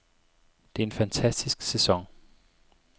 Det er en fantastisk sæson.